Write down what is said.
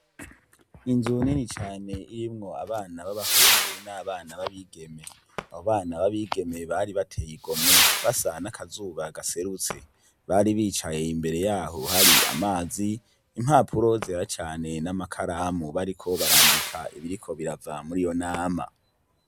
Inzu nini cane irimwo abana babahungu nabana babigeme abo bana babigeme bari bateye igomwe basa nakazuba gaserutse bari bicaye imbere yaho hari amazi impapuro zera cane namakaramu bariko barandika ibiriko birava muriyo nama